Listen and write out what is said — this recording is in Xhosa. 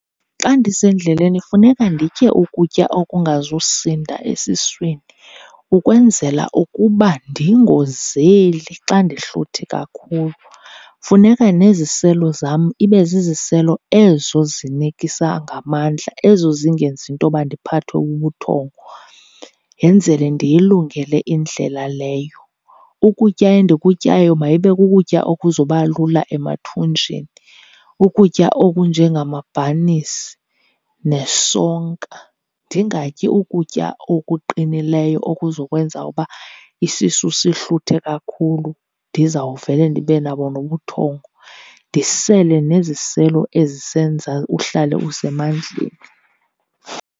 Xa ndisendleleni funeka nditye ukutya okungazusinda esiswini, ukwenzela ukuba ndingozeli xa ndihluthi kakhulu. Funeka neziselo zam ibe ziziselo ezo zinikisa ngamandla, ezo zingenzi intoba ndiphathwe bubuthongo, yenzele ndiyilungele indlela leyo. Ukutya endikutyayo mayibe kukutya okuzoba lula emathunjini, ukutya okunje ngamabhanisi nesonka. Ndingatyi ukutya okuqinileyo okuzokwenza uba isisu sihluthe kakhulu, ndizawuvele ndibe nabo nobuthongo. Ndisele neziselo ezisenza uhlale usemandleni.